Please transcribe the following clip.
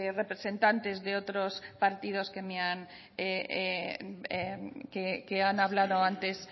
representantes de otros partidos que me han hablado antes